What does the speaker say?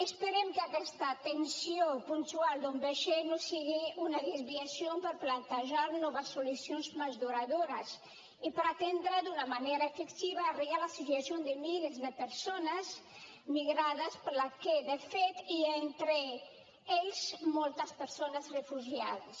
esperem que aquesta tensió puntual d’un vaixell no sigui una desviació per plantejar noves solucions més duradores i per atendre d’una manera efectiva arreglar la situació de milers de persones migrades per la qual de fet hi ha entre elles moltes persones refugiades